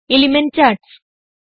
element charts